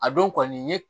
A don kɔni n ye